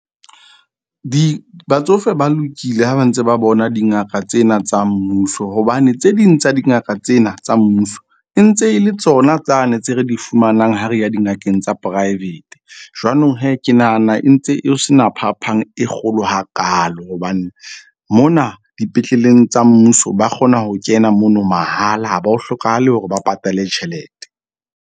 Batsofe ba lokile ha ba ntse ba bona dingaka tsena tsa mmuso, hobane tse ding tsa dingaka tsena tsa mmuso e ntse e le tsona tsane tse re di fumanang, ha re ya dingakeng tsa private. Jwanong ke nahana e ntse e se na phapang e kgolo hakaalo. Hobane mona dipetleleng tsa mmuso ba kgona ho kena mono mahala, ha ba o hlokahale hore ba patale tjhelete.